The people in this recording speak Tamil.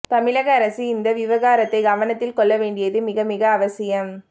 தமிழக அரசு இந்த விவகாரத்தை கவனத்தில் கொள்ள வேண்டியது மிகமிக அவசியம்